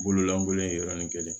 Bololankolon ye yɔrɔnin kelen